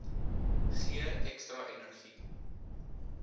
gee ekstra energie